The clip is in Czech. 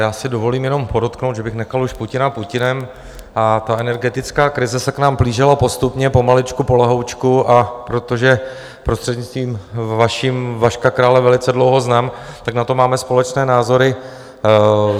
Já si dovolím jenom podotknout, že bych nechal už Putina Putinem, a ta energetická krize se k nám plížila postupně, pomaličku polehoučku, a protože, prostřednictvím vaším, Vaška Krále velice dlouho znám, tak na to máme společné názory.